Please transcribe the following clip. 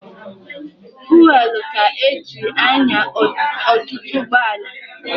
Fuwelụ ka e ji anya ọtụtụ ụgbọala.